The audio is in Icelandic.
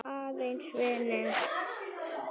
Aðeins vinir.